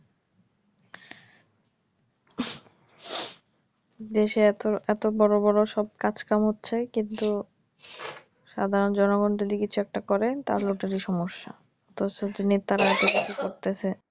দেশে এতো এতো বড় বড় সব কাজ কাম হচ্ছে কিন্তু সাধারন জনগন যদি কিছু একটা করেন তাহলে ওটারই সমস্যা। তো এই নেতারা এতসব কিছু করতেছে,